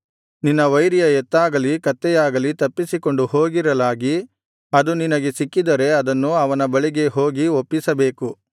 ನಿನ್ನ ವೈರಿಯ ಎತ್ತಾಗಲಿ ಕತ್ತೆಯಾಗಲಿ ತಪ್ಪಿಸಿಕೊಂಡು ಹೋಗಿರಲಾಗಿ ಅದು ನಿನಗೆ ಸಿಕ್ಕಿದರೆ ಅದನ್ನು ಅವನ ಬಳಿಗೆ ಹೋಗಿ ಒಪ್ಪಿಸಬೇಕು